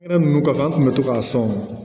Fɛn ninnu kɔfɛ an kun bɛ to k'a sɔn